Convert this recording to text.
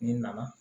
N'i nana